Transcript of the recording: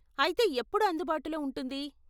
అయితే ఎప్పుడు అందుబాటులో ఉంటుంది?